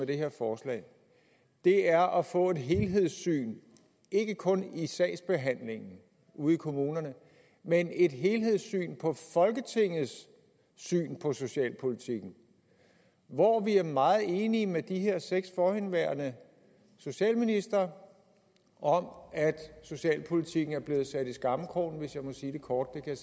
det her forslag er at få et helhedssyn ikke kun i sagsbehandlingen ude i kommunerne men et helhedssyn i folketingets syn på socialpolitikken hvor vi er meget enige med de her seks forhenværende socialministre om at socialpolitikken er blevet sat i skammekrogen hvis jeg må sige det kort det kan